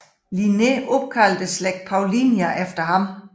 Linné opkaldte slægten Paullinia efter ham